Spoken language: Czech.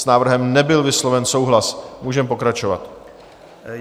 S návrhem nebyl vysloven souhlas, můžeme pokračovat.